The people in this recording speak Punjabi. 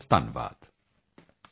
ਬਹੁਤਬਹੁਤ ਧੰਨਵਾਦ